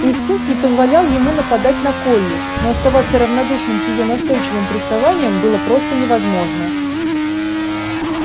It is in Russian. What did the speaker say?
инстинкт не позволял ему нападать на колли но оставаться равнодушным к её настойчивым приставаниям было просто невозможно